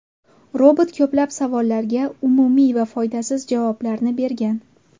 Robot ko‘plab savollarga umumiy va foydasiz javoblarni bergan.